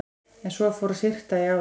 En svo fór að syrta í álinn.